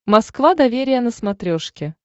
москва доверие на смотрешке